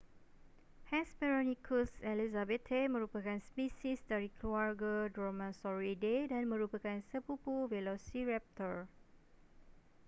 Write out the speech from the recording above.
hesperonychus elizabethae merupakan spesies dari keluarga dromaeosauridae dan merupakan sepupu velociraptor